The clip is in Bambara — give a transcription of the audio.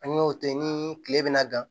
An y'o tɛ ni tile bɛna dan